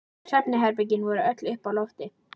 Svefnherbergin voru öll uppi á lofti.